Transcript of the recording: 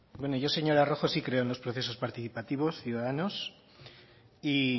yo señora rojo sí creo en los procesos participativos ciudadanos y